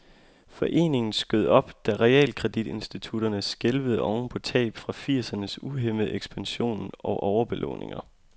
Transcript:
Foreningen skød op, da realkreditinstitutterne skælvede oven på tab fra firsernes uhæmmede ekspansion og overbelåninger.